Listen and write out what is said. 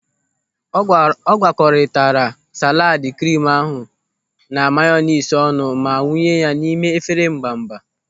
Ọ gwakoritara salaad krimu ahụ na mayonis ọnụ ma wụnye ya n'ime efere mbamba.